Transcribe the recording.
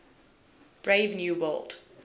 brave new world